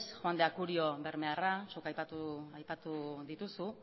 juan de acurio bermearra zuk aipatu dituzu